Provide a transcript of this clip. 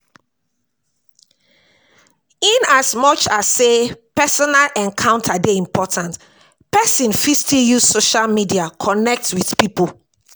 In as much as sey personal encounter dey important, person fit still use social media connect with pipo